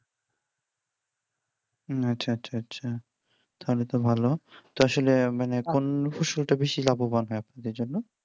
আচ্ছা আচ্ছা আচ্ছা তাহলে তো ভালো আসলে মানে কোন কোন ফসলটা বেশি লাভবান হয় আপনাদের জন্য